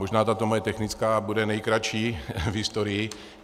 Možná tato moje technická bude nejkratší v historii.